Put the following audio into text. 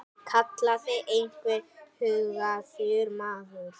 kallaði einhver hugaður maður.